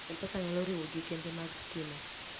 M-Pesa nyalo riwo gi kembe mag stima.